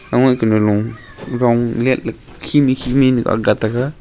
kunulo rong leitley khimi khimi akga taiga.